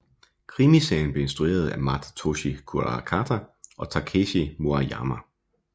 Krimiserien blev instrueret af Masatoshi Kuarakata og Takeshi Maruyama